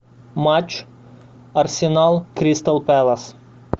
матч арсенал кристал пэлас